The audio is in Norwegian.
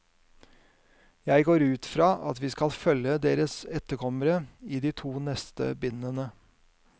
Jeg går ut fra at vi skal følge deres etterkommere i de neste to bindene.